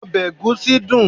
obe egusi dun